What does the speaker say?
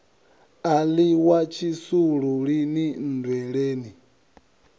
a ḽiwa tshisulu lini nndweleni